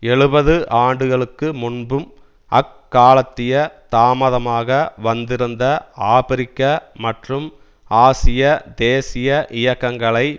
எழுபது ஆண்டுகளுக்கு முன்பும் அக்காலத்திய தாமதமாக வந்திருந்த ஆபிரிக்க மற்றும் ஆசிய தேசிய இயக்கங்களை